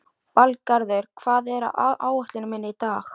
Valgarður, hvað er á áætluninni minni í dag?